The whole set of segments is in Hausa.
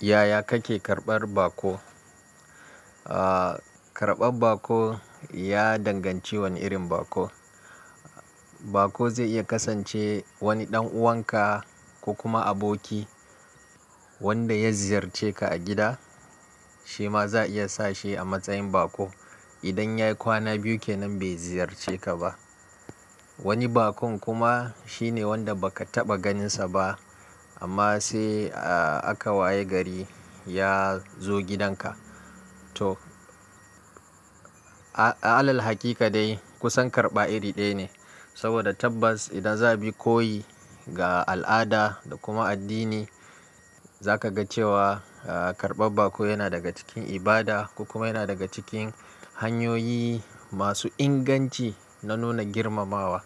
Yaya kake karɓar bako? Aaa karɓar bako ya danganci wane irin bako. Bako zai iya kasance wani ɗan uwanka ko kuma aboki wanda ya ziyarce ka a gida shi ma za a iya sa shi a matsayin bako. Idan ya yi kwana biyu kenan bai ziyarce ka ba. Wani bakon kuma shine wanda ba ka taɓa ganinsa ba amma sai a-a-aka waye gari ya zo gidanka. To a-a-alal hakika dai kusan karɓa iri ɗaya ne saboda tabbas idan za ka bi koyi ga al'ada da kuma addini za ka ga cewa aaa karɓar bako yana daga cikin ibada kuma yana daga cikin hanyoyi masu inganci na nuna girmamawa.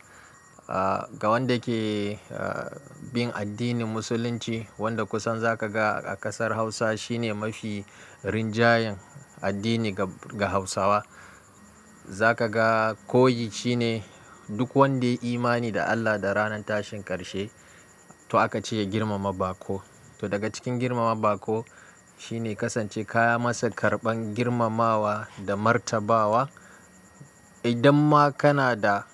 Aaa ga wanda ke aa bin addinin Musulunci wanda kusan za ka ga a ƙasar Hausa shine mafi rinjayen addini ga-ga Hausawa. Za ka ga koyi shine duk wanda yi imani da Allah da ranar tashin ƙarshe to aka ce ya girmama bako. To daga cikin girmama bako shine kasance ka yi masa karɓan girmamawa da martabawa. Idan ma kana da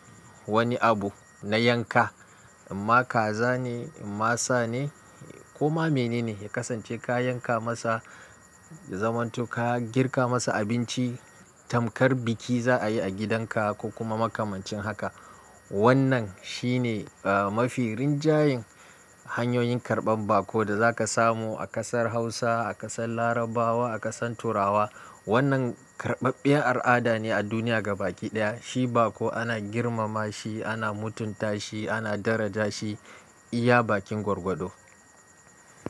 wani abu na yanka, amma kaza ne, imma sa ne, ko ma mene ne ka kasance ka yanka masa ya zamantu ka girka masa abinci tamkar biki za a yi a gidanka ko kuma makamancin haka. Wannan shine eh mafi rinjayen hanyoyin karɓan bako da za ka samu a ƙasar Hausa, a ƙasar Larabawa, a ƙasan Turawa. Wannan karɓaɓɓen al'ada ne a duniya gaba ɗaya. Shi bako ana girmama shi, ana mutunta shi, ana daraja shi iya bakin gwargwado.